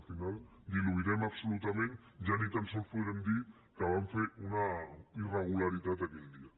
al final ho diluirem absolutament ja ni tan sols podrem dir que van fer una irregularitat aquell dia